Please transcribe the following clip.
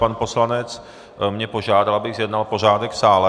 Pan poslanec mě požádal, abych zjednal pořádek v sále.